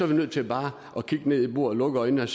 vi nødt til bare at kigge ned i bordet og lukke øjnene